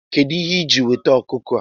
Kedu ihe iji weta ọkụkọ a?